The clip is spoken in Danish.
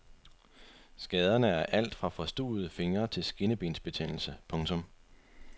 Skaderne er alt fra forstuvede fingre til skinnebensbetændelse. punktum